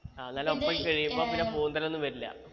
ആ നല്ല ഒപ്പായി ശരിയാവുമ്പൊ കയ്യുമ്പോ പിന്നെ പൂന്തൽ ഒന്നും വരില്ല